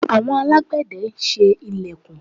Àwon alágbẹ̀de n se ilẹ̀kùn